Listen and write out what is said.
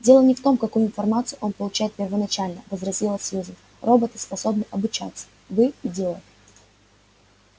дело не в том какую информацию он получает первоначально возразила сьюзен роботы способны обучаться вы идиот